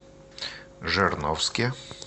жирновске